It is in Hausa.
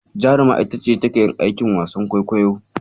Jaruma ita ce take yin aikin wasan kwaikwayo.